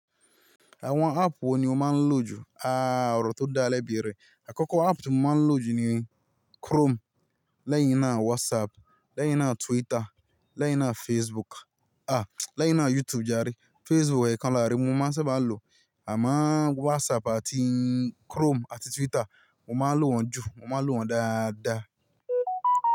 Àwọn app wo ni o máa ń lò jù? Aaa, ọ̀rọ̀ tó dáa bẹ́ẹ̀ rè. Àkọ́kọ́ app tí mo máa ń lò jù ni Chrome, lẹ́yìn náà WhatsApp, lẹ́yìn náà Twitter, lẹ́yìn náà Facebook. Ah! Lẹ́yìn náà YouTube jare. Facebook ekan láre, mo máa ń sábà lò. Àmo o WhatsApp àti Chrome àti Twitter, mo máa ń lò wọ́n jù, mo máa ń lò wọ́n dáadáa.